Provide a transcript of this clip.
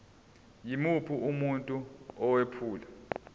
yimuphi umuntu owephula